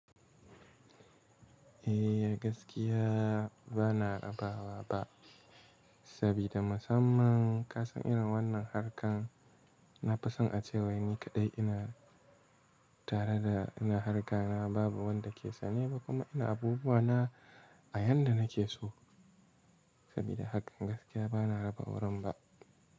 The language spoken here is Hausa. Eh gaskiya bana raba wa ba, sabida musamman kasan irin wannan harkan na fi son a cewai ni kaɗai ina tare da ina harka na babu wanda ke sane ba kuma ina abubuwa na a yanda nake so sabida hakan gaskiya bana raba wurin ba.